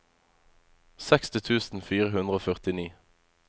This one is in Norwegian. seksti tusen fire hundre og førtini